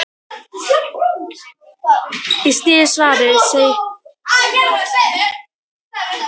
Í síðara svarinu segir um fullnægingu kvenna: